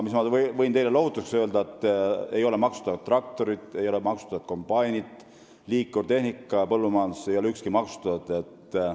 Aga ma võin teile lohutuseks öelda, et traktorid ja kombainid ei ole maksustatud, st põllumajanduse liikurtehnika ei ole maksustatud.